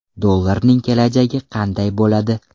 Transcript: Dollarning kelajagi qanday bo‘ladi?